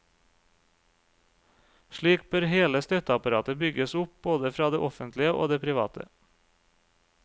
Slik bør hele støtteapparatet bygges opp både fra det offentlige og det private.